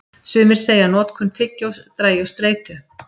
Sumir segja að notkun tyggjós dragi úr streitu.